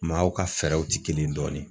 Maaw ka fɛɛrɛw ti kelen ye dɔɔnin